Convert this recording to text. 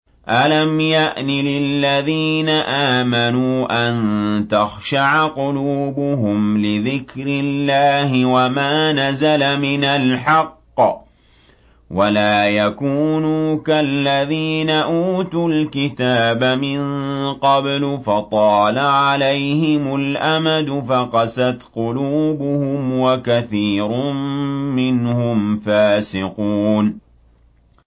۞ أَلَمْ يَأْنِ لِلَّذِينَ آمَنُوا أَن تَخْشَعَ قُلُوبُهُمْ لِذِكْرِ اللَّهِ وَمَا نَزَلَ مِنَ الْحَقِّ وَلَا يَكُونُوا كَالَّذِينَ أُوتُوا الْكِتَابَ مِن قَبْلُ فَطَالَ عَلَيْهِمُ الْأَمَدُ فَقَسَتْ قُلُوبُهُمْ ۖ وَكَثِيرٌ مِّنْهُمْ فَاسِقُونَ